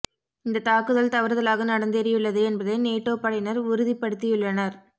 இந்த தாக்குதல் தவறுதலாக நடந்தேறியுள்ளது என்பதை நேட்டோ படையினர் உறுதிபடுத்தியுள்ளனர்